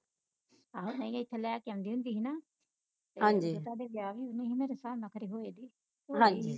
ਆਹੋ ਨਹੀ ਇਥੇ ਲੈ ਕੇ ਆਉਂਦੀ ਹੁੰਦੀ ਸੀ ਨਾ ਵਿਆਹ ਵਿਉਹ ਨਹੀ ਮੇਰੇ ਹਿਸਾਬ ਨਾਲ ਖਰੇ ਹੋਏ ਦੇ